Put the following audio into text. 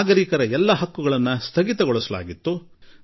ನಾಗರಿಕರ ಎಲ್ಲಾ ಅಧಿಕಾರಗಳನ್ನೂ ಅಂತ್ಯಗೊಳಿಸಲಾಗಿತ್ತು